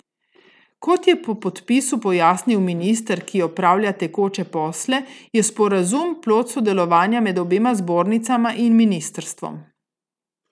Kot je po podpisu pojasnil minister, ki opravlja tekoče posle, je sporazum plod sodelovanja med obema zbornicama in ministrstvom.